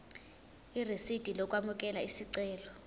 irisidi lokwamukela isicelo